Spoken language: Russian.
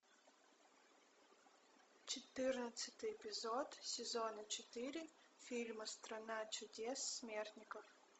четырнадцатый эпизод сезона четыре фильма страна чудес смертников